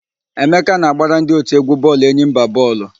Emeka na-agbara ndị òtù égwú bọọlụ Enyimba bọọlụ.